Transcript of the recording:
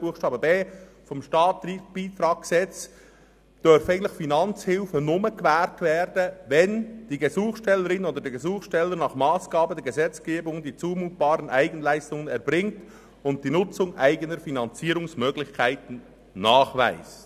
Buchstabe b des Staatsbeitragsgesetzes vom 16. September 1992 (StBG) dürfen Finanzhilfen eigentlich nur gewährt werden, wenn «[...] die Gesuchstellerin oder der Gesuchsteller nach Massgabe der Gesetzgebung die zumutbaren Eigenleistungen erbringt und die Nutzung eigener Finanzierungsmöglichkeiten nachweist.